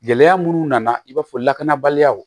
Gɛlɛya munnu nana i b'a fɔ lakanabaliyaw